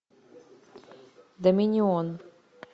доминион